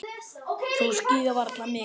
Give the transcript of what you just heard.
Þú skíðar varla mikið.